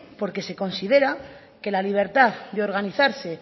porque se considera que la libertad de organizarse